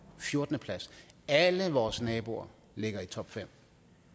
fjortende plads alle vores naboer ligger i topfem og